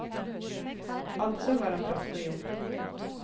Altså var han dratt på jobb.